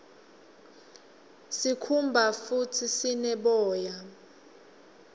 sikhumba futdi sine boya